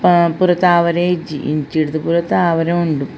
ಹಾ ಪೂರ ತಾವರೆ ಇಜ್ಜಿ ಇಂಚಿರ್ದ್ ಪೂರ ತಾವರೆ ಉಂಡು.